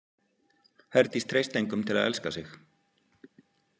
Herdís treysti engum til að elska sig.